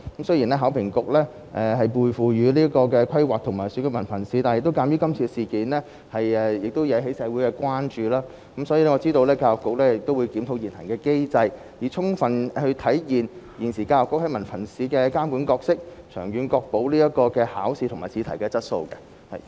雖然考評局獲授權規劃及評核文憑試，但鑒於今次事件引起了社會關注，我知道教育局會檢討現行機制，以充分體現教育局現時在文憑試方面的監管角色，長遠確保考試及試題的質素。